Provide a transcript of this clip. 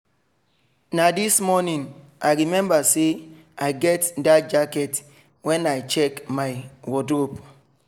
na this morning i remember say i get that jacket when i check my wardrobe.